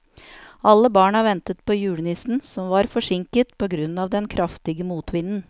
Alle barna ventet på julenissen, som var forsinket på grunn av den kraftige motvinden.